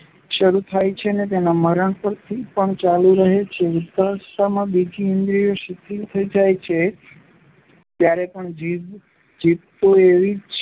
શરૂ થાય છે ને એ મરણ પછી પણ ચાલુ રહે છે. વૃદ્ધાવસ્થામાં બીજી ઇન્દ્રિયો શિથિલ થઈ જાય છે ત્યારે પણ જીભ તો એવી